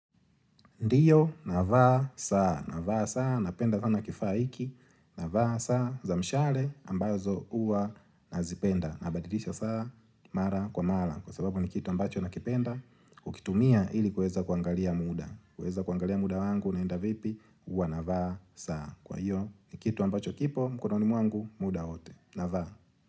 Ndiyo, navaa saa, navaa saa, napenda sana kifaa hiki, navaa saa, za mshale ambazo huwa nazipenda, nabadilisha saa, mara kwa mara, kwa sababu ni kitu ambacho nakipenda, ukitumia ili kuweza kuangalia muda, kuweza kuangalia muda wangu unaenda vipi, huwa navaa saa, kwa hiyo ni kitu ambacho kipo mkononi mwangu muda wote, navaa.